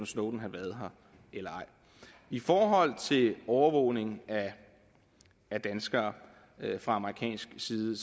snowden havde været her eller ej i forhold til overvågning af danskere fra amerikansk side